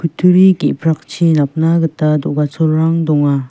kutturi ge·prakchi napna gita do·gacholrang donga.